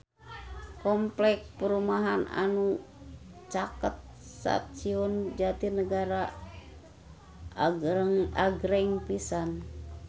Kompleks perumahan anu caket Stasiun Jatinegara agreng pisan